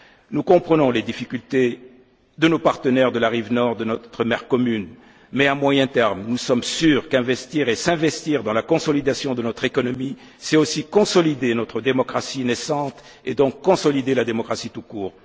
Nous comprenons les difficultés de nos partenaires de la rive nord de notre mer commune mais, à moyen terme, nous sommes sûrs qu'investir et s'investir dans la consolidation de notre économie, c'est aussi consolider notre démocratie naissante et donc consolider la démocratie tout